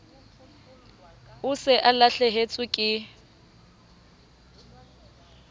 o se o lahlehetswe ke